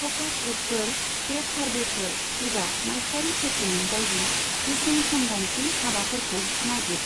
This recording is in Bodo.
फ'कास ग्रुपफोर, पेद सार्भेफोर एबा माइस्टारि शप्पिं बायदि गुसुं समगान्थि हाबाफोरखौ नागिर।